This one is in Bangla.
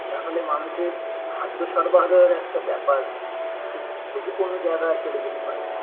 তাহলে মানুষের খাদ্য সরবরাহের একটা ব্যাপার খুব ঝুঁকিপূর্ণ জায়গায় চলে যেতে পারে